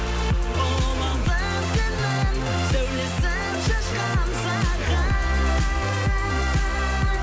сәулесін шашқан саған